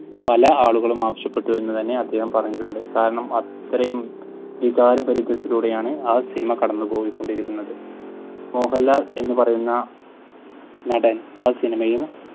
പല ആളുകളൂം ആവശ്യപ്പെട്ടു എന്ന് തന്നെ അദ്ദേഹം പറഞ്ഞിട്ടുണ്ട്. കാരണം അത്രയും വികാരഭരിതത്തിലൂടെയാണ് ആ സിനിമ കടന്നുപോയികൊണ്ടിരിക്കുന്നത്. മോഹൻലാൽ എന്ന് പറയുന്ന നടൻ ആ സിനിമയിൽ